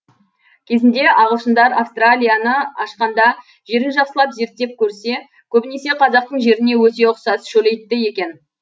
кезінде ағылшындар австралияны ашқанда жерін жақсылап зерттеп көрсе көбінесе қазақтың жеріне өте ұқсас шөлейтті екен